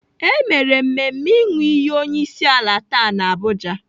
E mere mmemme ịnụ iyi onyeisiala taa n'Abuja.